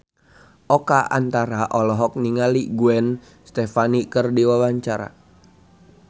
Oka Antara olohok ningali Gwen Stefani keur diwawancara